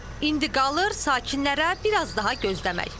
İndi qalır sakinlərə bir az daha gözləmək.